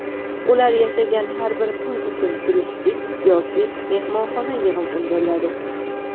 ular yashagan har bir kun uchun turistik (mehmonxona) yig‘im undiriladi.